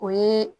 O ye